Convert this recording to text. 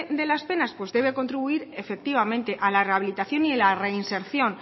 de las penas pues debe contribuir efectivamente a la rehabilitación y la reinserción